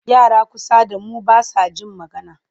Yara kusa da mu ba sa jin magana.